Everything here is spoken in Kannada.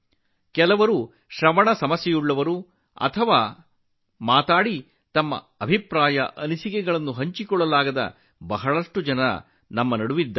ಕೇಳಲು ಸಾಧ್ಯವಾಗದ ಅಥವಾ ಮಾತಿನ ಮೂಲಕ ವ್ಯಕ್ತಪಡಿಸಲು ಸಾಧ್ಯವಾಗದ ಅನೇಕ ಜನರಿದ್ದಾರೆ